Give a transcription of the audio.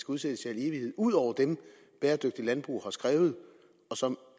udsættes i al evighed ud over dem bæredygtigt landbrug har skrevet og som